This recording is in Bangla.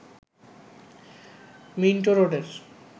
মিন্টো রোডের